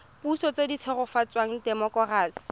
puso tse di tshegetsang temokerasi